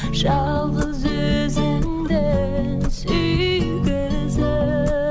жалғыз өзіңді